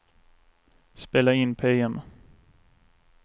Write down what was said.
spela in PM